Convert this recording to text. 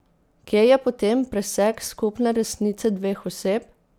Kje je potem presek skupne resnice dveh oseb?